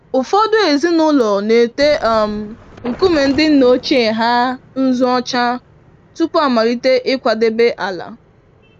Ụfọdụ ezinụlọ n'ete um nkume ndị nna ochie ha nzụ ọcha tupu amalite ịkwadebe ala.